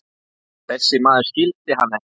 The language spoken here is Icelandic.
Þessi maður skildi hann ekki.